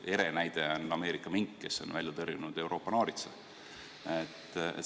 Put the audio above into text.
Selle ere näide on Ameerika mink, kes on välja tõrjunud Euroopa naaritsa.